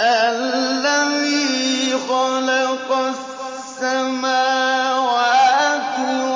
الَّذِي خَلَقَ السَّمَاوَاتِ